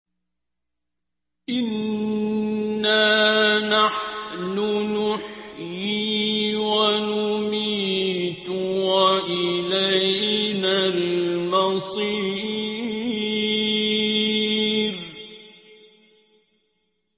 إِنَّا نَحْنُ نُحْيِي وَنُمِيتُ وَإِلَيْنَا الْمَصِيرُ